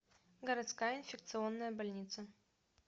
городская инфекционная больница